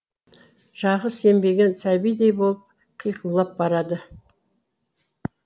жағы сембеген сәбидей болып қиқулап барады